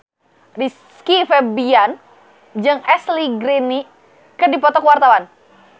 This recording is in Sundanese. Rizky Febian jeung Ashley Greene keur dipoto ku wartawan